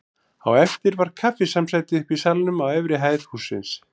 Á eftir var kaffisamsæti uppi í salnum á efri hæð hússins.